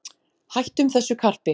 Hættum þessu karpi